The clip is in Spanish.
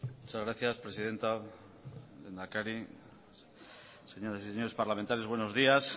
muchas gracias presidenta lehendakari señoras y señores parlamentarias buenos días